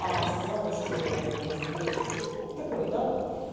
а сказала что разбилась ну такой да вот